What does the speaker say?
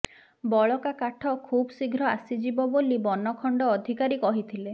ବଳକା କାଠ ଖୁବ୍ଶୀଘ୍ର ଆସିଯିବ ବୋଲି ବନଖଣ୍ଡ ଅଧିକାରୀ କହିଥିଲେ